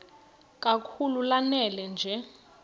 kakhulu lanela nje